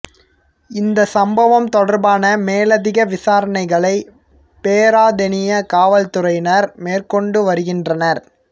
இந்த சம்பவம் தொடர்பான மேலதிக விசாரணைகளை பேராதெனிய காவல் துறையினர் மேற்கொண்டு வருகின்றனர்